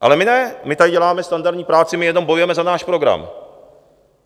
Ale my ne, my tady děláme standardní práci, my jenom bojujeme za náš program.